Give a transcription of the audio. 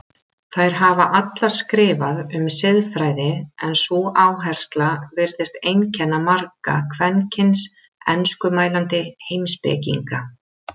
Þær hafa allar skrifað um siðfræði en sú áhersla virðist einkenna marga kvenkyns enskumælandi heimspekinga.